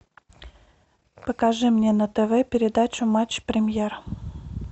покажи мне на тв передачу матч премьер